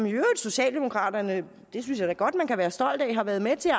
i øvrigt socialdemokraterne det synes jeg da godt man kan være stolt af har været med til at